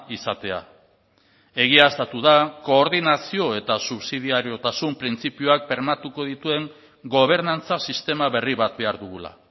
izatea egiaztatu da koordinazio eta subsidiariotasun printzipioak bermatuko dituen gobernantza sistema berri bat behar dugula